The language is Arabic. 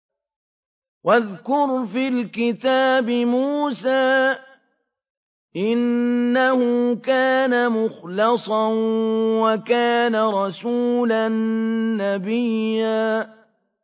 وَاذْكُرْ فِي الْكِتَابِ مُوسَىٰ ۚ إِنَّهُ كَانَ مُخْلَصًا وَكَانَ رَسُولًا نَّبِيًّا